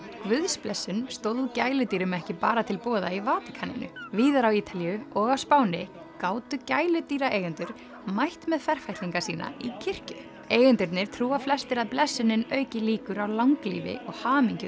guðsblessun stóð gæludýrum ekki bara til boða í Vatíkaninu víðar á Ítalíu og á Spáni gátu gæludýraeigendur mætt með ferfætlinga sína í kirkju eigendurnir trúa flestir að blessunin auki líkur á langlífi og hamingju